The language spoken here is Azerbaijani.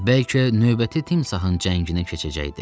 Bəlkə növbəti timsahın cənginə keçəcəkdi.